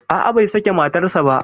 A'a, bai sake matarsa ba.